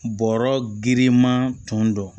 Bɔrɔ girinman tun don